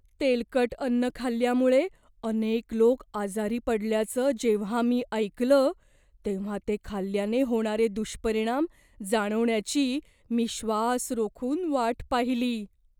तेलकट अन्न खाल्ल्यामुळे अनेक लोक आजारी पडल्याचं जेव्हा मी ऐकलं, तेव्हा ते खाल्ल्याने होणारे दुष्परिणाम जाणवण्याची मी श्वास रोखून वाट पाहिली.